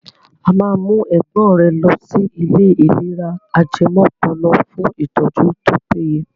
A máa mú ẹ̀gbọ́n rẹ lọsí ilé ìlera ajẹmọ́pọlọ fún ìtọ́jú tó péye.